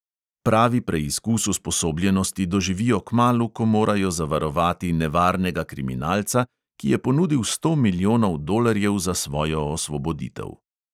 Pravi preizkus usposobljenosti doživijo kmalu, ko morajo zavarovati nevarnega kriminalca, ki je ponudil sto milijonov dolarjev za svojo osvoboditev.